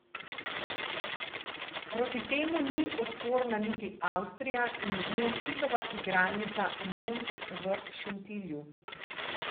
Proti temu ni odporna niti Avstrija in z njo Hitova igralnica Mond v Šentilju.